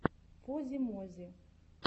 фози мози